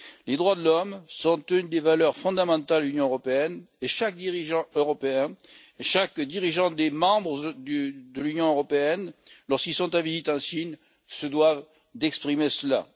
Les droits de l'homme sont une des valeurs fondamentales de l'Union européenne et chaque dirigeant européen, chaque dirigeant des États membres de l'Union européenne, lorsqu'il est en visite en Chine, se doit d'exprimer cela.